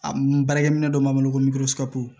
A n baarakɛ minɛn dɔ b'an bolo ko